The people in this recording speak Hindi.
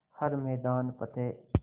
हर मैदान फ़तेह